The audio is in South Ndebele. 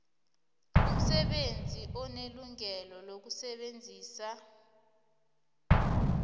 umsebenzi unelungelo lokusebenzisa